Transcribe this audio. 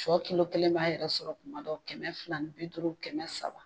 Sɔ kilo kelen b'a yɛrɛ sɔrɔ kuma dɔ kɛmɛ fila ni bi duuru kɛmɛ saba